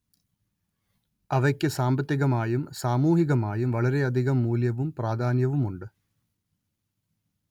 അവയ്ക്ക് സാമ്പത്തികമായും സാമൂഹികമായും വളരെയധികം മൂല്യവും പ്രാധാന്യവുമുണ്ട്